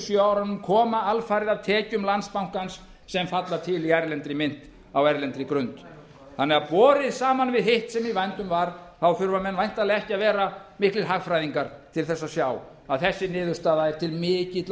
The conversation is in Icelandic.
sjö árunum koma alfarið af tekjum landsbankans sem falla til í erlendri mynt á erlendri grund þannig að borið saman við hitt sem í vændum var þurfa menn væntanlega ekki að vera miklir hagfræðingar til að sjá að þessi niðurstaða er til mikilla